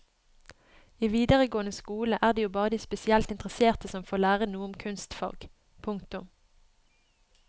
I videregående skole er det jo bare de spesielt interesserte som får lære noe om kunstfag. punktum